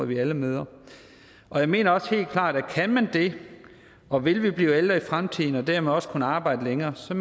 vi alle møder jeg mener også helt klart at kan man det og vil vi blive ældre i fremtiden og dermed også kunne arbejde længere skal